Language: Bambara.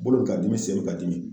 Bolo bɛ k'a dimi, sen bɛ ka dimi .